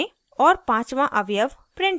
* और पाँचवाँ अवयव print करें